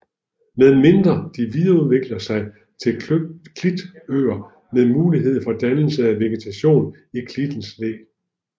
Med mindre de videreudvikler sig til klitøer med mulighed for dannelse af vegetation i klittens læ